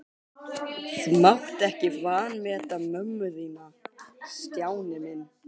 Þú mátt ekki vanmeta mömmu þína, Stjáni minn.